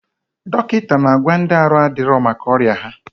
Dọkịta na agwa ndị arụ adịrọ maka ọya ha